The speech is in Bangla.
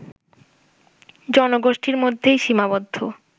জনগোষ্ঠির মধ্যেই সীমাবদ্ধ